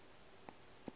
be e le senwi sa